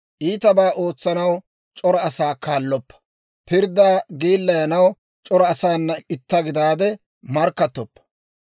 Iitabaa ootsanaw c'ora asaa kaalloppa; pirddaa geellayanaw c'ora asaana itta gidaade markkattoppa.